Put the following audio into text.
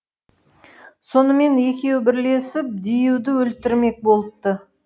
сонымен екеуі бірлесіп диюды өлтірмек болыпты